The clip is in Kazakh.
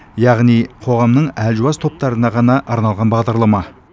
яғни қоғамның әлжуаз топтарына ғана арналған бағдарлама